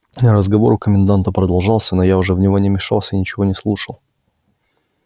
разговор у коменданта продолжался но я уже в него не мешался и ничего не слушал